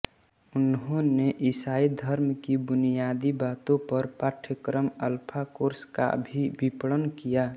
उन्होंने ईसाई धर्म की बुनियादी बातों पर पाठ्यक्रम अल्फ़ा कोर्स का भी विपणन किया